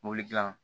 Mobili dilan